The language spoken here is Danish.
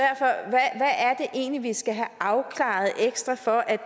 egentlig vi skal have afklaret ekstra for at